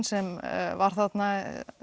sem var þarna